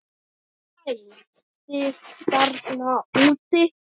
Hæ, hæ þið þarna úti.